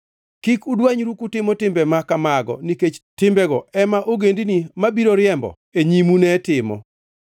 “ ‘Kik udwanyru kutimo timbe ma kamago nikech timbego ema ogendini mabiro riembo e nyimu ne timo.